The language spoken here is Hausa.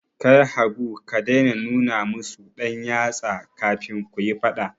Kai Habu ka dai na nuna musu ɗan yatsa, kafin kuyi faɗa